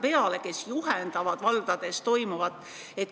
Need inimesed juhivad valdades toimuvat.